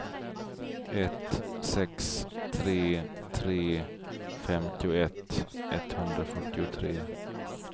ett sex tre tre femtioett etthundrafyrtiotre